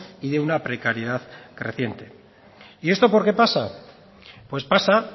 y de una precariedad creciente y esto por qué pasa pues pasa